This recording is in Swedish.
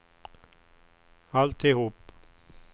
alltihop